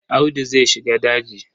Audu zai shiga daji.